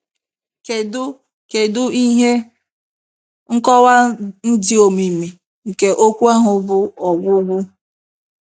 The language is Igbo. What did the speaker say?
Kedu Kedu ihe nkọwa dị omimi nke okwu ahụ bụ "ọgwụgwụ"?